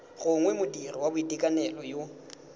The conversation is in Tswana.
gongwe modiri wa boitekanelo yo